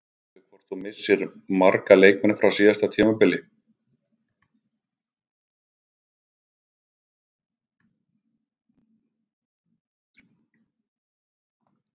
Veistu hvort þú missir marga leikmenn frá síðasta tímabili?